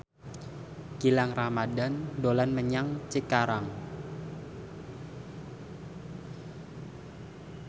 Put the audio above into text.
Gilang Ramadan dolan menyang Cikarang